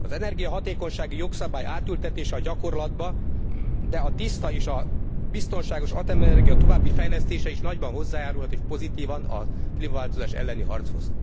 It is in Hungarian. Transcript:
Az energiahatékonysági jogszabály átültetése a gyakorlatba, de a tiszta és biztonságos atomenergia további fejlesztése is nagyban hozzájárulhat és pozitívan a klímaváltozás elleni harchoz.